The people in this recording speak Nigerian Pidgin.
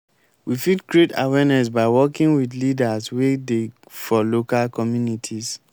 we fit create awareness by working with leaders wey dey for local communities